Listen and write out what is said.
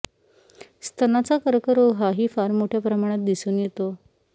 स्तनाचा कर्करोग हाही फार मोठय़ा प्रमाणात दिसून येतो